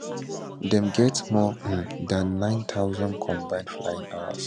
dem get more um dan 9000 combined flying hours